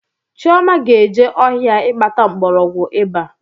Chioma ga-eje ọhịa ịkpata mgbọrọgwụ iba